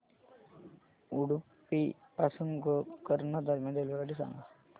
उडुपी पासून गोकर्ण दरम्यान रेल्वेगाडी सांगा